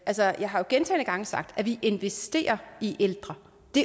jeg har jo gentagne gange sagt at vi investerer i ældre